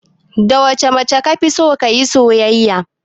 Da wacce mace kafison kayi soyayya?